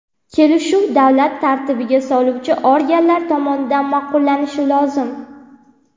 Kelishuv davlat tartibga soluvchi organlari tomonidan ma’qullanishi lozim.